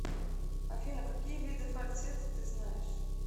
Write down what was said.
афина какие виды фальцет ты знаешь